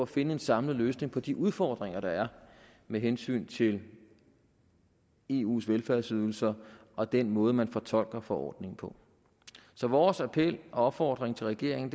finde en samlet løsning på de udfordringer der er med hensyn til eus velfærdsydelser og den måde man fortolker forordningen på så vores appel og opfordring til regeringen